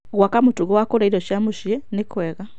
Gwaka mũtugo wa kũrĩa irio cia mũciĩ nĩ kwega.